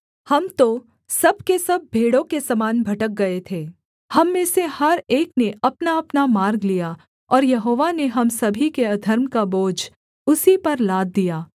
हम तो सब के सब भेड़ों के समान भटक गए थे हम में से हर एक ने अपनाअपना मार्ग लिया और यहोवा ने हम सभी के अधर्म का बोझ उसी पर लाद दिया